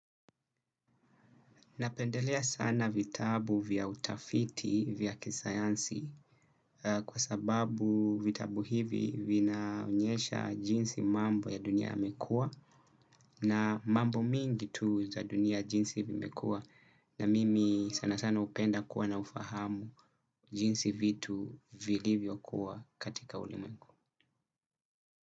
Napendelea sana vitabu vya utafiti vya kisayansi kwa sababu vitabu hivi vinaonyesha jinsi mambo ya dunia yamekuwa na mambo mingi tu za dunia jinsi vimekua na mimi sana sana upenda kuwa na ufahamu jinsi vitu vilivyo kuwa katika ulimwengu.